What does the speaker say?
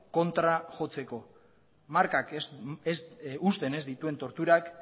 kontra jotzeko markak uzten ez dituzten torturak